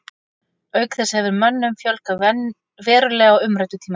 Auk þess hefur mönnum fjölgað verulega á umræddu tímabili.